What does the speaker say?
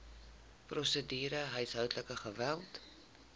prosedure huishoudelike geweld